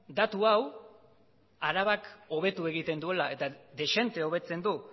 datu hau arabak hobetu egiten duela eta dezente hobetzen du